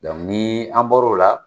ni an bɔro la